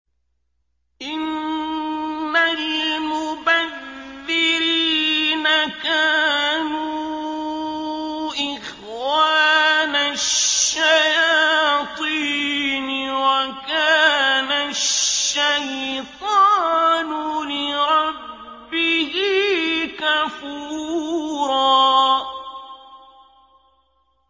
إِنَّ الْمُبَذِّرِينَ كَانُوا إِخْوَانَ الشَّيَاطِينِ ۖ وَكَانَ الشَّيْطَانُ لِرَبِّهِ كَفُورًا